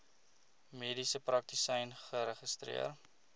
mediese praktisyn geregistreer